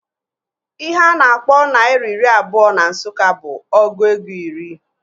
Ihe a na-akpọ naira iri abụọ na Nsụka bụ ọgụ ego iri